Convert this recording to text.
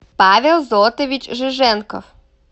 павел зотович жиженков